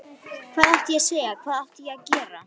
Hvað átti ég að segja, hvað átti ég að gera?